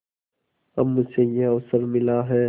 अब मुझे यह अवसर मिला है